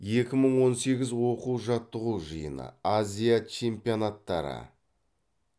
екі мың он сегіз оқу жаттығу жиыны азия чемпионаттары